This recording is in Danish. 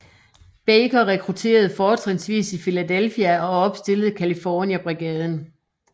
Baker rekrutterede fortrinsvis i Philadelphia og opstillede California Brigaden